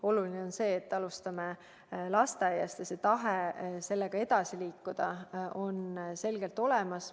Oluline on see, et alustame lasteaiast ja et tahe sellega edasi liikuda on selgelt olemas.